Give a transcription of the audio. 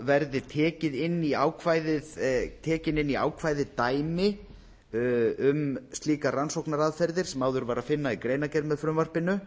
verði tekin inn í ákvæðið dæmi um slíkar rannsóknaraðferðir sem áður var að finna í greinargerð með frumvarpinu